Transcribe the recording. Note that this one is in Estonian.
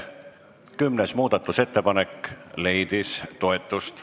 Kümnes muudatusettepanek leidis toetust.